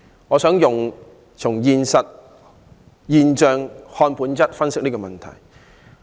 我想由"現象看本質"，分析這個問題。